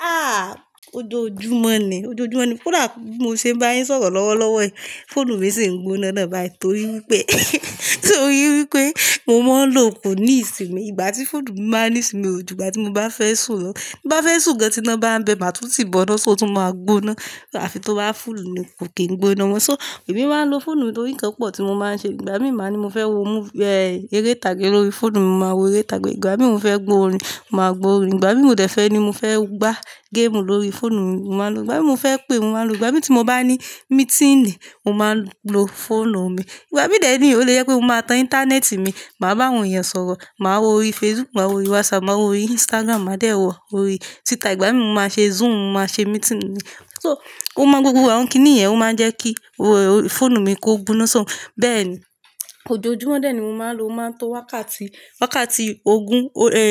Ah! Ojoojúmọ́ ni, ojoojúmọ́ ni koda bí mo ṣe ń bá yín sọ̀rọ̀ lọ́wọ́lọ́wọ́ yìí, fóònù mi sì ń gbóná náà bayi torí wípé torí wípé mo máa ń lo koní ìsinmi. Ìgbà tí fóònù bá ní ìsinmi ò jù ìgbà tí mo bá fẹ́ sùn lo Bí bá fẹ́ sùn gan tí iná bá ń bẹ, màtúntì bọ́ná, ṣó o tún máa gbóná àfi tó bá fùlù ni kò kí n gbóná mọ́. So, èmi máa ń lo fóònù nítorí ǹkan púpọ̀ tí mo máa ń ṣe. Ìgbà míì máa ní mo fẹ́ wo mú-- eh, eré ìtàgé lórí fóònù mi, mo máa wo eré ìtàgé. Ìgbà míì mo fẹ́ gbo orin, màá gbo orin. Ìgbà míì mo de fe ni mo fẹ́ gbá géèmù lórí fóònù mi, mo máa n lo. Ìgbà míì mo fẹ́ pé, mo máa n lo. Ìgbà míì tí mo bá ní mí́tìǹì, mo máa n lo fóònù mi. Ìgbà míì deni o le jẹ pé mo máa tan íńtánet mi, màá bá àwọn èèyàn sọ̀rọ̀, màá wo orí Facebook, màá wo orí WhatsApp, màá wo orí Instagram, màá de wọ̀ orí Twitter Ìgbà míì mo máa ṣe Zoom, mo máa ṣe mí́tìǹì mi. So, ó mọ́ gbogbo àwọn kíní ìyẹn ó máa ń jẹ́ kí ó, fóònù mi kó gbóná so. Bẹ́ẹ̀ ni, ojoojúmọ́ deni mo máa ń lo, o máa ń to wákàtí, wákàtí ogún, e,